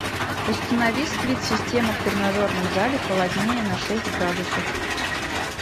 установи сплит система в тренажерном зале холоднее на шесть градусов